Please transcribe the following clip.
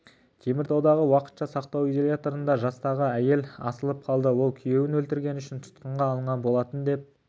теміртаудағы уақытша сақтау изоляторында жастағы әйел асылып қалды ол күйеуін өлтіргені үшін тұтқынға алынған болатын деп